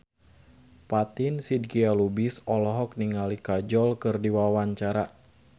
Fatin Shidqia Lubis olohok ningali Kajol keur diwawancara